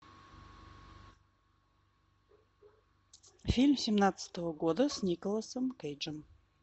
фильм семнадцатого года с николасом кейджем